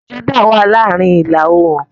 Jordan wá ní àárín ila-oorun.